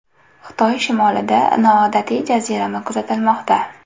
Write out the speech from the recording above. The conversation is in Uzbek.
Xitoy shimolida noodatiy jazirama kuzatilmoqda.